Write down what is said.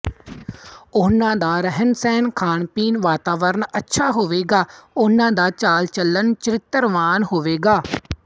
ਉਨ੍ਹਾਂ ਦਾ ਰਹਿਣਸਹਿਣ ਖਾਣਪੀਣ ਵਾਤਾਵਰਨ ਅੱਛਾ ਹੋਵੇਗਾ ਉਨ੍ਹਾਂ ਦਾ ਚਾਲਚਲਣ ਚਰਿੱਤਰਵਾਨ ਹੋਵੇਗਾ